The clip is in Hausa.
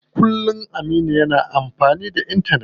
Kullum Aminu yana amfani da intanet.